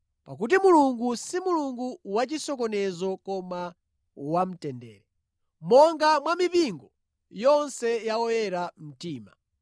Pakuti Mulungu si Mulungu wachisokonezo koma wamtendere. Monga mwa mipingo yonse ya oyera mtima.